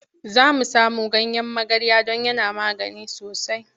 Za mu samo ganyen magarya don yana magani sosai.